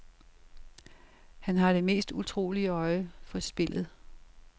Han har det mest utrolige øje for spillet.